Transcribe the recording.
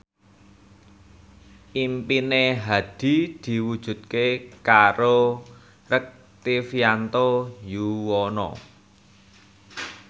impine Hadi diwujudke karo Rektivianto Yoewono